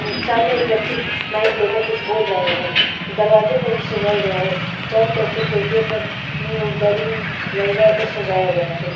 ऊं सामने एक व्यक्ति माइक लेकर कुछ बोल रहे हैं दरवाजों को भी सजाया गया हैं चारों तरफ से खिड़कियों पर ऊं बैलून लगा कर सजाया गया हैं।